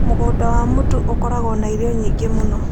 Mũgũnda wa mũtu ũkoragwo na irio nyingĩ mũno.